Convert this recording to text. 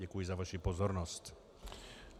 Děkuji za vaši pozornost.